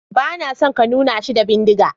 Ba na so ka nuna shi da bindiga.